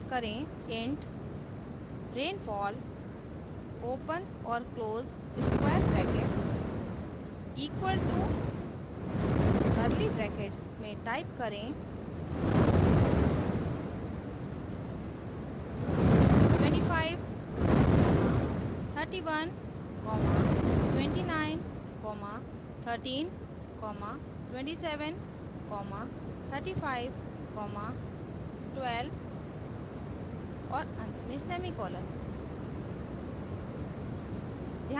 int rainfall open और close square brackets equal to curly brackets में type करें 25312913273512 और अंत में semicolon